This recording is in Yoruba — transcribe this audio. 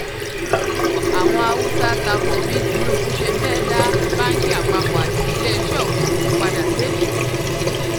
àwọn haúsá ta ko bí tinubu ṣe fẹ́ẹ́ dá báǹkì àpapọ̀ àti iléeṣẹ́ òfúrufú padà sékòó